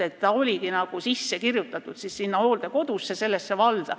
Ta oligi nagu sisse kirjutatud sinna hooldekodusse, sellesse valda.